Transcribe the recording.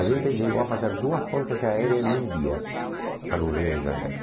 A gente chegou a fazer duas pontes aéreas em um dia para o Rio de Janeiro.